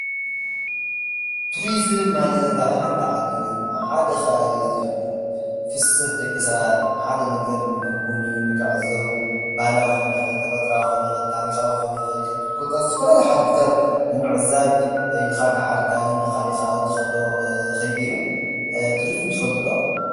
ቱሪዝም ማለት ኣብ ሓንቲ ዓዲ ወይ ድማ ሓደ ከባቢ ዝህሉ ፍሰት ደቂ ሰባት። ሓደ ነገር ንክጉብንዩ፣ ንክዕዘቡ፣ ባህላዊ ክኾን ይኽእል፣ ተፈጥሮኣዊ ክኾን ይኽእል፣ ታሪኻዊ ክኾን ይኽእል፣ ኮታስ ዝተፈላለዩ ሓድግታት ንምዕዛብ ካብ ሓደ ከባቢ ናብ ካሊእ ከባቢ ትኸዶ ከይዲ እዩ ። ቱሪዝም ትፈልጡ ዶ ?